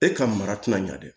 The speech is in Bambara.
E ka mara tɛna ɲɛ dɛ